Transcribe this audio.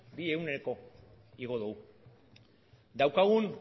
bi igo du daukagun